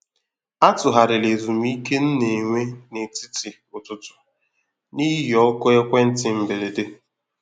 A tụgharịrị ezumike nna enwe ná etiti ụtụtụ n’ihi oku ekwentị mberede.